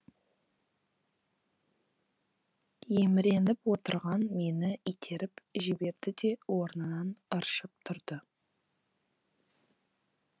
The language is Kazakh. еміреніп отырған мені итеріп жіберді де орнынан ыршып тұрды